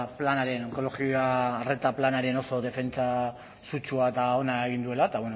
planaren onkologia arreta planaren oso defentsa sutsua eta ona egin duela eta